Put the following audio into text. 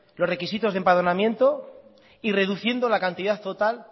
los requisitos de empadronamiento y reduciendo la cantidad total